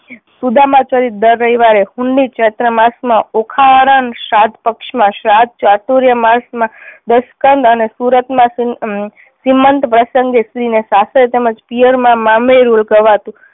સુદામા ચરિત્ર દર રવિવારે, હુનની ચૈત્ર માસ માં ઓખા હરણ, શ્રાદ્ધ પક્ષ માં શ્રાદ્ધ, ચાતુર્ય માસ માં દસકંદ અને સુરત માં શ્રી શ્રીમંત પ્રસંગે સ્ત્રી ને સાસરે તેમં જ પિયર માં મામેરું હતું